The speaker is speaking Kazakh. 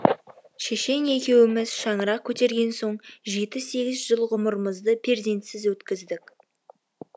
шешең екеуіміз шаңырақ көтерген соң жеті сегіз жыл ғұмырымызды перзентсіз өткіздік